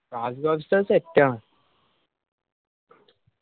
Raziq Ustad set ആണ്.